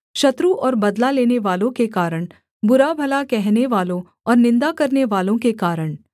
शत्रु और बदला लेनेवालों के कारण बुराभला कहनेवालों और निन्दा करनेवालों के कारण